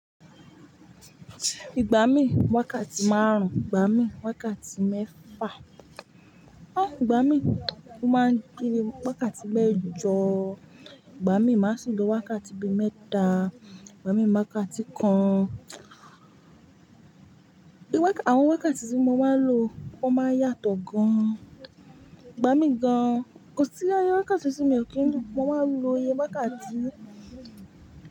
Ìgbà mí wákàtí márùn-ún, ìgbà mí wákàtí mẹ́fà, ah, ìgbà mí o máa ń di bi wákàtí mẹ́jọ, ìgbà mí máa sii lọ wákàtí bí mẹ́ta, ìgbà mí máa wákàtí kan. Wákà-- àwọn wákàtí tí mo máa ń lò o máa ń yàtọ̀ gan-an. Ìgbà mí gan-an kò sí i ye wákàtí tí mí ò kí n lo, mo máa ń lo iye wákàtí.